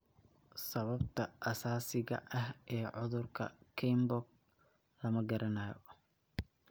Sababta asaasiga ah ee cudurka Kienbock lama garanayo.